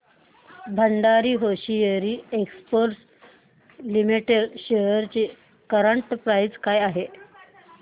Bhandari hosiery exports limited shares ची current price काय आहे